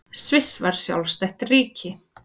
Sviss varð sjálfstætt ríki.